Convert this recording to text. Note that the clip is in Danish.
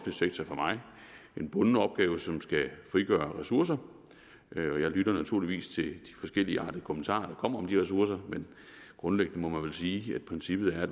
sektor for mig en bunden opgave som skal frigøre ressourcer og jeg lytter naturligvis til de forskelligartede kommentarer der kommer om de ressourcer men grundlæggende må man vel sige at princippet er at